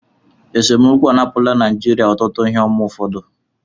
Esemokwu anapụla Naijiria ọtụtụ ihe ọma ụfọdụ